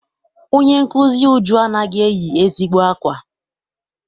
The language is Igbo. Onye nkụzi Uju anaghị eyi ezigbo akwa.